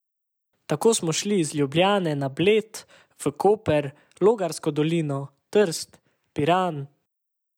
Tako smo šli iz Ljubljane na Bled, v Koper, Logarsko dolino, Trst, Piran ...